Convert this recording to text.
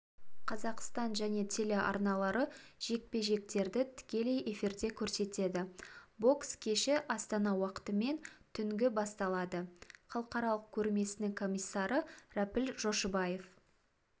қазақстан және телеарналары жекпе-жектердітікелей эфирде көрсетеді бокс кешіастана уақытымен түнгі басталады халықаралық көрмесінің комиссары рәпіл жошыбаев